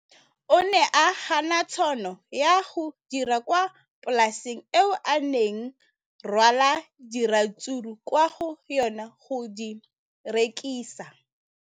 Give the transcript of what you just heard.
O ne a gana tšhono ya go dira kwa polaseng eo a neng rwala diratsuru kwa go yona go di rekisa.